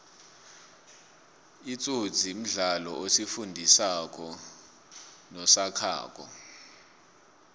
itsotsi mdlalo osifundi sako nosakhako